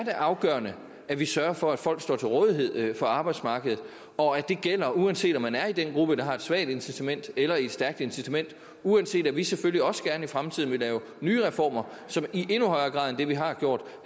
er afgørende at vi sørger for at folk står til rådighed for arbejdsmarkedet og at det gælder uanset om man er i den gruppe der har et svagt incitament eller i et stærkt incitament uanset at vi selvfølgelig også gerne i fremtiden vil lave nye reformer som i endnu højere grad end det vi har gjort